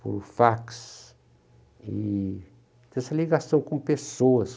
por fax, e tem essa ligação com pessoas.